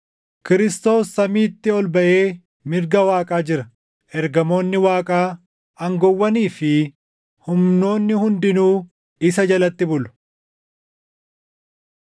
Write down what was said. Kiristoos samiitti ol baʼee mirga Waaqaa jira; ergamoonni Waaqaa, aangoowwanii fi humnoonni hundinuu isa jalatti bulu.